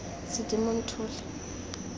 sedimonthole